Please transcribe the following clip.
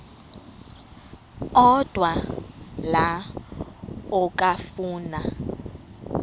odwa la okafuna